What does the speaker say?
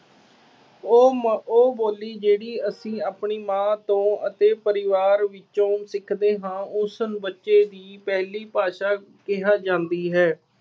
ਉਹ ਮ, ਉਹ ਬੋਲੀ ਜਿਹੜੀ ਅਸੀਂ ਆਪਣੀ ਮਾਂ ਤੋਂ ਅਤੇ ਪਰਿਵਾਰ ਵਿੱਚੋਂ ਸਿੱਖਦੇ ਹਾਂ ਉਸਨੂੰ ਬੱਚੇ ਦੀ ਪਹਿਲੀ ਭਾਸ਼ਾ ਕਿਹਾ ਜਾਂਦੀ ਹੈ।